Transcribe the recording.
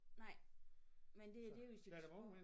Nej men det det jo hvis så